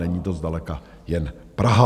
Není to zdaleka jen Praha.